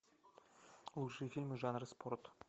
лучшие фильмы жанра спорт